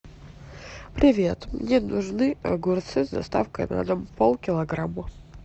привет мне нужны огурцы с доставкой на дом полкилограмма